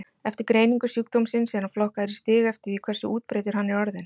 Eftir greiningu sjúkdómsins er hann flokkaður í stig eftir því hversu útbreiddur hann er orðinn.